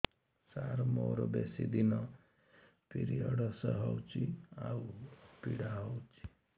ସାର ମୋର ବେଶୀ ଦିନ ପିରୀଅଡ଼ସ ହଉଚି ଆଉ ପୀଡା ହଉଚି